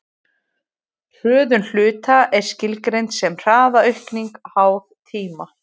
hröðun hluta er skilgreind sem hraðaaukning háð tíma